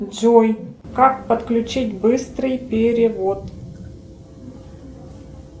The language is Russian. джой как подключить быстрый перевод